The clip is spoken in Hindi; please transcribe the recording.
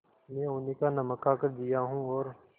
मैं उन्हीं का नमक खाकर जिया हूँ और